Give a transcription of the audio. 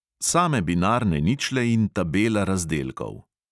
Same binarne ničle in tabela razdelkov!